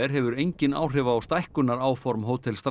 hefur engin áhrif á stækkunaráform Hótel